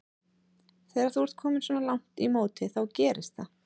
Þegar þú ert kominn svona langt í móti þá gerist það.